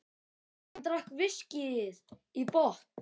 Hann drakk viskíið í botn.